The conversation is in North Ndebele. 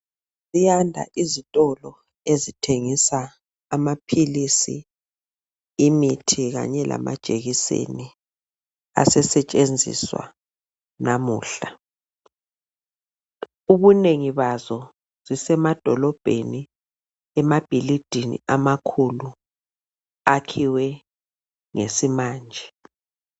Ziyanda izitolo ezithengisa amaphilisi, imithi kanye lama jekiseni asesetshenziswa namuhla, ubunengi bazo zisemadolobheni emabhilidini amakhulu akhiwe ngesi manje.